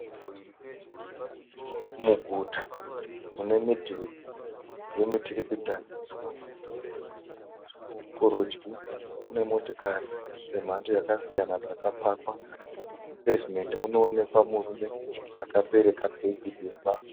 Muguta mune midhuri yemiturikidzaniswa. Kurudyi kune motikari dzemhando dzakasiyana dzakapakwa. Mupevhimendi munoekwa murume akabereka bhegi dema.